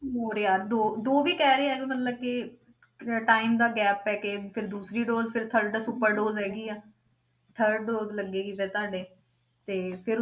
ਹੋਰ ਯਾਰ ਦੋ ਦੋ ਵੀ ਕਹਿ ਰਹੇ ਆ ਮਤਲਬ ਕਿ time ਦਾ gap ਪੈ ਕੇ ਫਿਰ ਦੂਸਰੀ dose ਫਿਰ third super dose ਹੈਗੀ ਆ third dose ਲੱਗੇਗੀ ਫਿਰ ਤੁਹਾਡੇ, ਤੇ ਫਿਰ